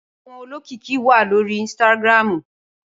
Awòn ólókìkí wá lóri instàgrámú